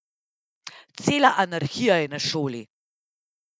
Cela anarhija je na šoli.